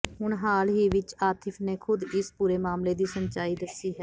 ਹੁਣ ਹਾਲ ਹੀ ਵਿੱਚ ਆਤਿਫ ਨੇ ਖੁਦ ਇਸ ਪੂਰੇ ਮਾਮਲੇ ਦੀ ਸੱਚਾਈ ਦੱਸੀ ਹੈ